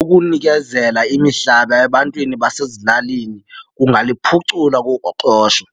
Ukunikezela imihlaba ebantwini basezilalini kungaliphucula uqoqosho